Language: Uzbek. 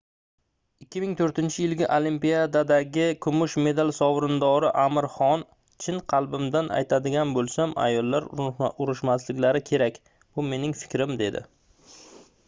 2004-yilgi olimpiadadagi kumush medal sovrindori amir xon chin qalbimdan aytadigan boʻlsam ayollar urushmasliklari kerak bu mening fikrim dedi